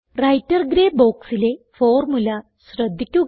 writer grey ബോക്സിലെ formula ശ്രദ്ധിക്കുക